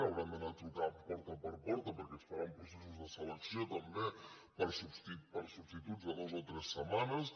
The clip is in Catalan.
hauran d’anar trucant porta per por·ta perquè es faran processos de selecció també per a substituts de dues o tres setmanes